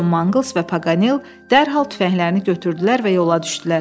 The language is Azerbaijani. Con Mangles və Paganel dərhal tüfənglərini götürdülər və yola düşdülər.